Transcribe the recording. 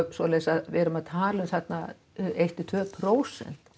svoleiðis að við erum að tala um þarna eitt til tvö prósent